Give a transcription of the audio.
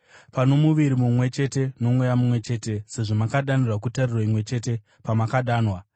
Pano muviri mumwe chete noMweya mumwe chete, sezvo makadanirwa kutariro imwe chete pamakadanwa,